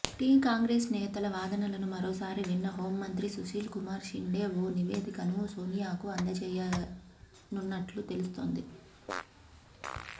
tea Congress నేతల వాదనలను మరోసారి విన్న హోంమంత్రి సుశీల్ కుమార్ షిండే ఓ నివేదికను సోనియాకు అందజేయచేయనున్నట్లు తెలుస్తోంది